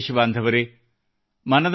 ನನ್ನ ಪ್ರಿಯ ದೇಶಬಾಂಧವರೆ